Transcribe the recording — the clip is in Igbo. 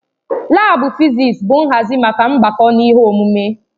Laabu fịzịs bụ nhazi maka mgbako na ihe omume.